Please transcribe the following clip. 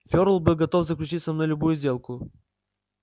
ферл был готов заключить со мной любую сделку